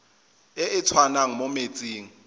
e e tswang mo metsing